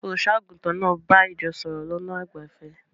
Olùṣọ́-àgùntàn náà bá ìjọ sọ̀rọ̀ lọ́nà àìgbẹ̀fẹ̀.